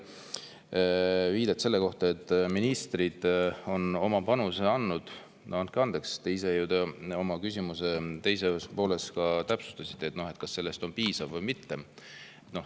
Aga mis puudutab teie viidet selle kohta, et ministrid on oma panuse andnud – no andke andeks, te ise oma küsimuse teises pooles ka, kas see on piisav või mitte.